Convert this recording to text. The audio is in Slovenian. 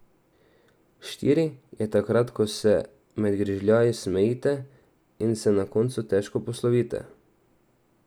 Štiri je takrat, ko se med grižljaji smejite in se na koncu težko poslovite.